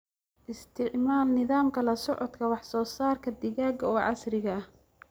Isticmaal nidaamka la socodka wax-soo-saarka digaaga oo casri ah.